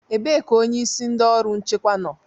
Ebee ka onyeisi ndị ọrụ nchekwa nọ?